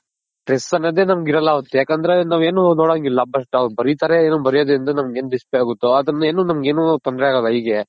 Stress ಅನ್ನೋದೇ ನಮ್ಗಿರಲ್ಲ ಅವತ್ತು ಯಾಕಂದ್ರೆ ನಾವೇನು ನೋಡಂಗಿಲ್ಲ just ಅವ್ರ ಬರಿತಾರೆ ಅವ್ರ ಬರ್ಯೋದ್ರಿಂದ ನಮ್ಗೆನ್ risk ಆಗುತ್ತೋ ಆದ್ರಿಂದ ನಮ್ಗೇನು ತೊಂದ್ರೆ ಆಗಲ್ಲ eye ಗೆ.